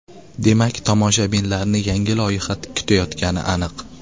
Demak, tomoshabinlarni yangi loyiha kutayotgani aniq.